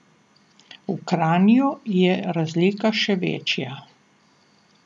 V Kranju je razlika še večja.